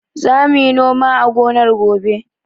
Za mu yi noma a gonar gobe.